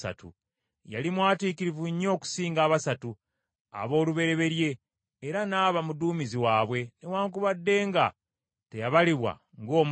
Yali mwatiikirivu nnyo okusinga abasatu, aboolubereberye, era n’aba muduumizi waabwe, newaakubadde nga teyabalibwa ng’omu ku bakulu.